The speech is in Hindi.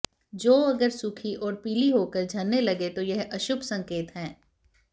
जौ अगर सूखी और पीली होकर झरने लगे तो यह अशुभ संकेत है